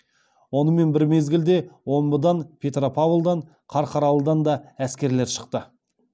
онымен бір мезгілде омбыдан петропавлдан қарқаралыдан да әскерлер шықты